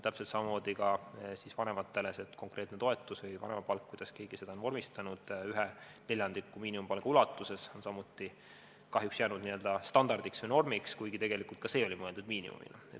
Täpselt samamoodi on ka vanemate konkreetse toetuse või vanemapalgaga – oleneb, kuidas keegi seda on vormistanud – neljandiku miinimumpalga ulatuses, see on samuti kahjuks jäänud n-ö standardiks või normiks, kuigi ka see oli mõeldud miinimumina.